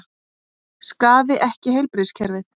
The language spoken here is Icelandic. Skaði ekki heilbrigðiskerfið